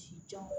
Ci jan